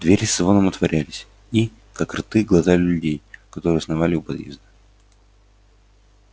двери со звоном отворялись и как рты глотали людей которые сновали у подъезда